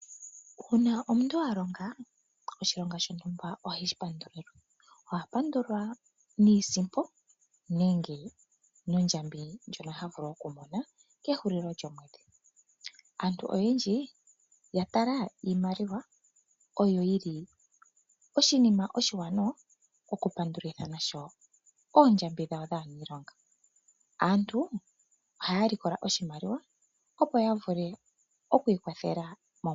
Uuna omuntu a longa oshilonga shontumba oheshi pandulilwa. Oha pandulwa niisimpo nenge nondjambi ndjoka ha vulu okumona kehulilo lyomwedhi. Aantu oyendji oya tala iimaliwa onga oshinima oshiwanawa okupandulitha nasho oondjambi dhawo dhaaniilonga. Aantu ohaya likola oshimaliwa, opo ya vule oku ikwathela.